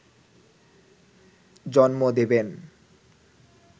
জন্ম দেবেন